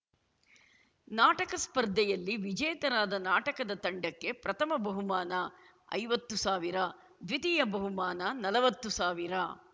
ನಾಟಕ ಸ್ಪರ್ಧೆಯಲ್ಲಿ ವಿಜೇತರಾದ ನಾಟಕದ ತಂಡಕ್ಕೆ ಪ್ರಥಮ ಬಹುಮಾನ ಐವತ್ತು ಸಾವಿರ ದ್ವಿತೀಯ ಬಹುಮಾನ ನಲವತ್ತು ಸಾವಿರ